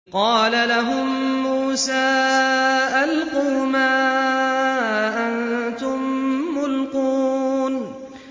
قَالَ لَهُم مُّوسَىٰ أَلْقُوا مَا أَنتُم مُّلْقُونَ